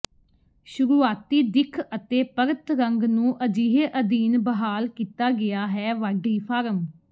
ਸ਼ੁਰੂਆਤੀ ਦਿੱਖ ਅਤੇ ਪਰਤ ਰੰਗ ਨੂੰ ਅਜਿਹੇ ਅਧੀਨ ਬਹਾਲ ਕੀਤਾ ਗਿਆ ਹੈ ਵਾਢੀ ਫਾਰਮ